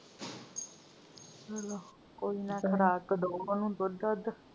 ਚਲੋ ਕੋਈ ਨਾ ਖੁਰਾਕ ਦੋ ਉਹਨੂੰ ਦੁੱਧ ਦਧ।